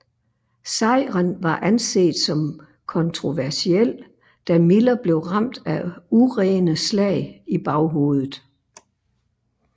Sejren var anset som kontroversiel da Miller blev ramt af urene slag i baghovedet